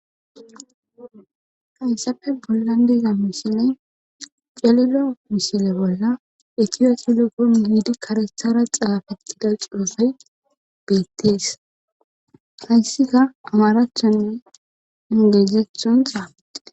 kayssappe bollan deza mishile jalilo misile bolla etiya selufon hiidi karethara xaafetida cuosay beettees haysika amaraachchanne engezethon xaafite